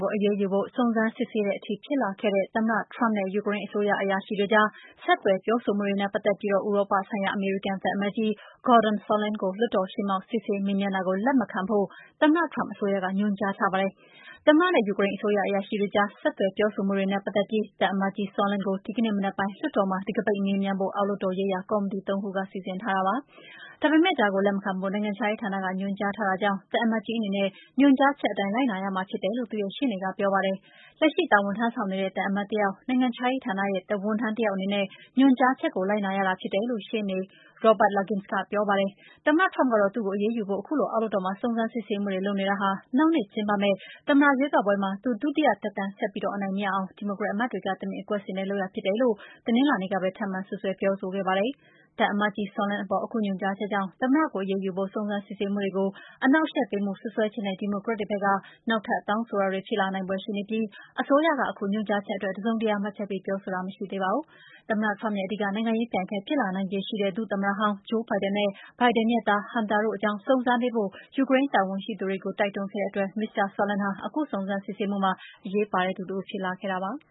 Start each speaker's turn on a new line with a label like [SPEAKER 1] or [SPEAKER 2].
[SPEAKER 1] ကို အရေးယူဖို့ စုံစမ်းစစ်ဆေးတဲ့အထိ ဖြစ်လာခဲ့တဲ့ သမ္မတ Trump နဲ့ ယူကရိန်းအစိုးရ အရာရှိတွေကြား ဆက်သွယ် ပြောဆိုမှုတွေနဲ့ ပတ်သက်ပြီး ဥရောပဆိုင်ရာ အမေရိကန်သံအမတ်ကြီး Gordon Sondland ကို လွှတ်တော်ရှေ့မှောက် စစ်ဆေး မေးမြန်းတာကို လက်မခံဖို့ သမ္မတ Trump အစိုးရက ညွှန်ကြားထားပါတယ်။ သမ္မတ နဲ့ ယူကရိန်းအစိုးရ အရာရှိတွေကြား ဆက်သွယ် ပြောဆိုမှုတွေနဲ့ ပတ်သက်ပြီး သံအမတ်ကြီး Sondland ကို ဒီကနေ့ မနက်ပိုင်း လွှတ်တော်မှာ တံခါးပိတ် မေးမြန်းဖို့ အောက်လွှတ်တော် ရေးရာ ကော်မတီ သုံးခုက စီစဉ်ထားတာပါ။ ဒါပေမဲ့ ဒါကို လက်မခံဖို့ နိုင်ငံခြားရေးဌာနက ညွှန်ကြားထားတာကြောင့် သံအမတ်ကြီးအနေနဲ့ ညွှန်ကြားချက်အတိုင်း လိုက်နာရမှာ ဖြစ်တယ်လို့ သူ့ရဲ့ ရှေ့နေက ပြောပါတယ်။ လက်ရှိ တာဝန်ထမ်းဆောင်နေတဲ့ သံအမတ်တယောက် နိုင်ငံခြားရေးဌာနရဲ့ ဝန်ထမ်းတယောက်အနေနဲ့ ညွှန်ကြားချက်ကို လိုက်နာရတာ ဖြစ်တယ်လို့ ရှေ့နေ Robert Luskin က ပြောပါတယ်။ သမ္မတ Trump ကတော့ - သူ့ကိုအရေးယူဖို့ ခုလို အောက်လွှတ်တော်မှာ စုံစမ်းစစ်ဆေးမှုတွေ လုပ်နေတာဟာ နောက်နှစ်ကျင်းပမယ့် သမ္မတရွေးကောက်ပွဲမှာ သူ ဒုတိယသက်တမ်း ဆက်ပြီးအနိုင်မရအောင် ဒီမိုကရက်အမတ်တွေက တမင်အကွက်ဆင်တဲ့လုပ်ရပ် ဖြစ်တယ်လို့ ဆိုပြီး တနင်္လာနေ့ကပဲ ထပ်မံ စွပ်စွဲပြောဆိုခဲ့ပါတယ်။ သံအမတ်ကြီး Sondland အပေါ် အခု ညွှန်ကြားချက်ကြောင့် သမ္မတကို အရေးယူဖို့ စုံစမ်းစစ်ဆေးမှုတွေကို အနှောက်အယှက်ပေးမှု စွပ်စွဲချက်နဲ့ ဒီမိုကရက်တွေဘက်က နောက်ထပ်တောင်းဆိုတာတွေ ဖြစ်လာနိုင်ဖွယ်ရှိနေပြီး အစိုးရက အခုညွှန်ကြားချက်အတွက် တစုံတရာ မှတ်ချက်ပေးပြောဆိုတာ မရှိသေးပါဘူး။ သမ္မတ Trump ရဲ့ အဓိက နိုင်ငံရေးပြိုင်ဘက် ဖြစ်လာနိုင်ခြေရှိတဲ့ ဒုသမ္မတဟောင်း Joe Biden နဲ့ Biden ရဲ့ သား Hunter တို့အကြောင်း စုံစမ်းပေးဖို့ ယူကရိန်းတာဝန်ရှိသူတွေကို တိုက်တွန်းခဲ့တဲ့အတွက် မစ္စတာ Sondland ဟာ အခုစုံစမ်းစစ်ဆေးမှုမှာ အရေးပါတဲ့သူ တဦးဖြစ်လာခဲ့တာပါ။